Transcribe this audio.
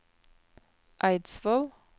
Eidsvoll